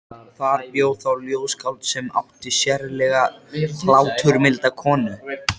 Ráðningarstjóri var bæði gildvaxinn og þunnhærður.